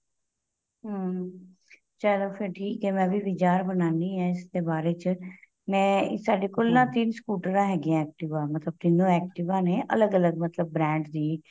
ਹਮ ਚਲੋਂ ਫ਼ਿਰ ਠੀਕ ਏ ਮੈਂ ਵੀ ਵਿਚਾਰ ਬਣਾਉਦੀ ਹਾਂ ਇਸ ਤੇ ਬਾਰੇ ਚ ਮੈਂ ਸਾਡੇ ਕੋਲ ਨਾ ਤਿੰਨ scooter ਹੈਗੇ ਏ activa ਮਤਲਬ ਤਿੰਨੋ activa ਨੇ ਅਲੱਗ ਅਲੱਗ ਮਤਲਬ brand ਦੀ